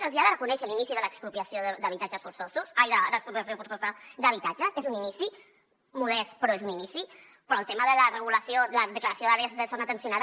se’ls hi ha de reconèixer l’inici de l’expropiació forçosa d’habitatges és un inici modest però és un inici però el tema de la regulació de la declaració d’àrees de zona tensionada